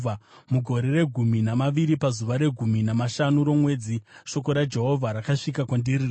Mugore regumi namaviri, pazuva regumi namashanu romwedzi, shoko raJehovha rakasvika kwandiri richiti,